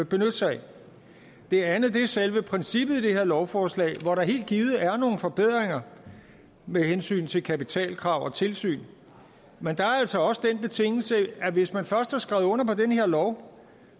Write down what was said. benytte sig af det andet er selve princippet i det her lovforslag hvor der helt givet er nogle forbedringer med hensyn til kapitalkrav og tilsyn men der er altså også den betingelse at hvis man først har skrevet under på den her lov